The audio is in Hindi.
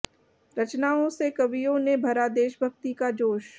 रचनाओं से कवियों ने भरा देभभक्ति का जोश